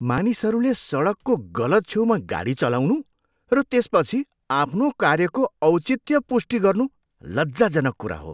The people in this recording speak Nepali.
मानिसहरूले सडकको गलत छेउमा गाडी चलाउनु र त्यसपछि आफ्नो कार्यको औचित्य पुष्टि गर्नु लज्जाजनक कुरा हो।